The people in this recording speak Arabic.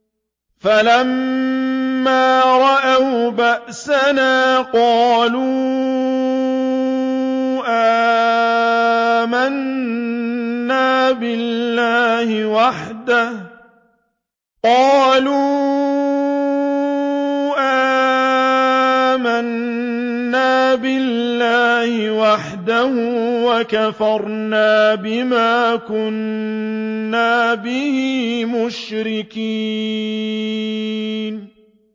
فَلَمَّا رَأَوْا بَأْسَنَا قَالُوا آمَنَّا بِاللَّهِ وَحْدَهُ وَكَفَرْنَا بِمَا كُنَّا بِهِ مُشْرِكِينَ